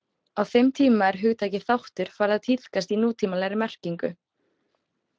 Á þeim tíma er hugtakið þáttur farið að tíðkast í nútímalegri merkingu.